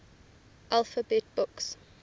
alphabet books